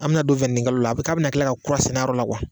An mina don kalo la, k'a bina kila ka kura sɛnɛ a yɔrɔ la